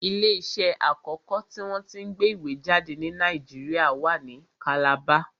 Ilé iṣẹ́ àkọ́kọ́ tí wọ́n tí ń gbé ìwé jáde ni Nàìjíríà wa ní kàlàba